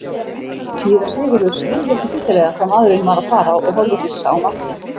Síra Sigurður skildi ekki fyllilega hvað maðurinn var að fara og horfði hissa á Martein.